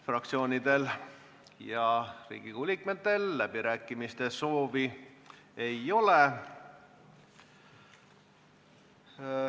Fraktsioonidel ja Riigikogu liikmetel kõnesoove ei ole.